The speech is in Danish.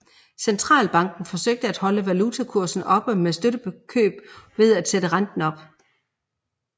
Centralbanken forsøgte at holde valutakursen oppe med støtteopkøb og ved at sætte renten op